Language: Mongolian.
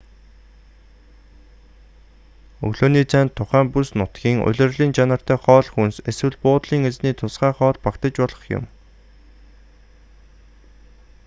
өглөөний цайнд тухайн бүс нутгийн улирлын чанартай хоол хүнс эсвэл буудлын эзний тусгай хоол багтаж болох юм